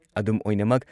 ꯑꯗꯨꯝꯑꯣꯏꯅꯃꯛ,